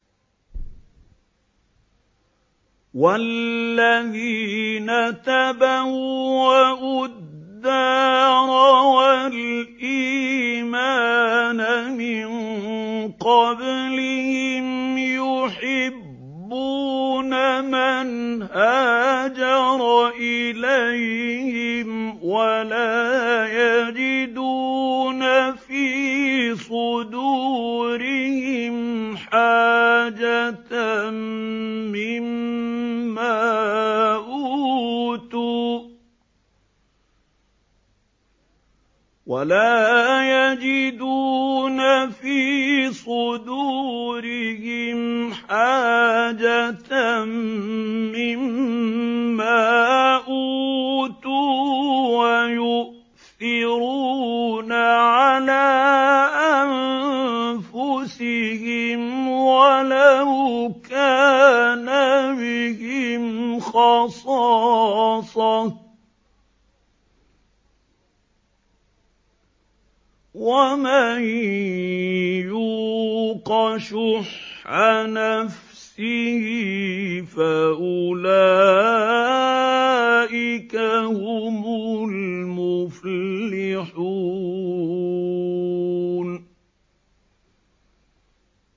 وَالَّذِينَ تَبَوَّءُوا الدَّارَ وَالْإِيمَانَ مِن قَبْلِهِمْ يُحِبُّونَ مَنْ هَاجَرَ إِلَيْهِمْ وَلَا يَجِدُونَ فِي صُدُورِهِمْ حَاجَةً مِّمَّا أُوتُوا وَيُؤْثِرُونَ عَلَىٰ أَنفُسِهِمْ وَلَوْ كَانَ بِهِمْ خَصَاصَةٌ ۚ وَمَن يُوقَ شُحَّ نَفْسِهِ فَأُولَٰئِكَ هُمُ الْمُفْلِحُونَ